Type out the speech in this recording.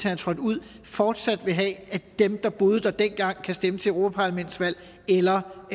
er trådt ud fortsat vil have at dem der boede der dengang kan stemme til europaparlamentsvalg eller om